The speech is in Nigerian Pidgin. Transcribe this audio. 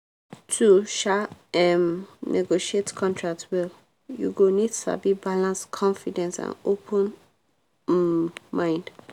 to um um negotiate contract well you go need sabi balance confidence and open um mind.